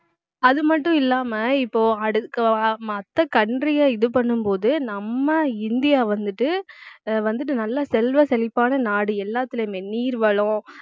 அது மட்டும் இல்லாம இப்போ அடுக்க மத்த country யை இது பண்ணும் போது நம்ம இந்தியா வந்துட்டு வந்துட்டு நல்லா செல்வ செழிப்பான நாடு எல்லாத்துலயுமே நீர் வளம்